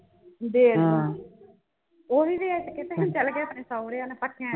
ਉਵੀ ਵੇਚ ਕੇ ਤੇ ਅਹੀਂ ਚੱਲ ਗਏ ਆਪਣ ਸਹੁਰਿਆਂ ਨਾਲ ਇਕੱਠਿਆਂ